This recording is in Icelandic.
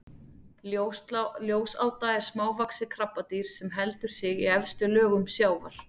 ljósáta er smávaxið krabbadýr sem heldur sig í efstu lögum sjávar